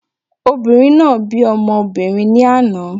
Obìnrin náà bí ọmọ obìrin ní àná